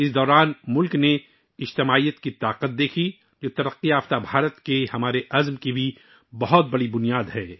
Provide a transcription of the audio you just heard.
اس دوران ملک نے اتحاد کی طاقت دیکھی، جو ترقی یافتہ بھارت کے ہمارے عزم کی ایک بڑی بنیاد بھی ہے